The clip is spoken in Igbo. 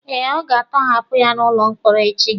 Eh, a ga-atọhapụ ya n'ụlọ mkpọrọ echi.